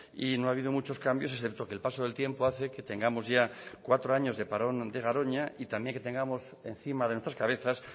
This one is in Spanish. y no ha habido muchos cambios excepto que el paso del tiempo hace que tengamos ya cuatro años de parón de garoña y también que tengamos encima de nuestras cabezas